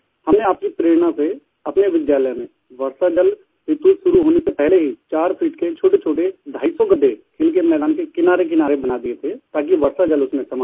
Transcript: हमने आपकी प्रेरणा से अपने विद्यालय में वर्षा जल ऋतु शुरू होने से पहले ही 4 फीट के छोटेछोटे ढाईसौ गड्ढे खेल के मैदान के किनारेकिनारे बना दिए थे ताकि वर्षा जल उसमें समा सके